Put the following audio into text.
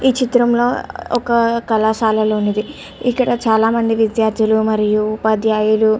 ఇది చిత్రం ఒక కళాశాలలోనిది ఇక్కడ చాలా మంది విద్యార్దులు మారుయు ఉపద్యాయులు.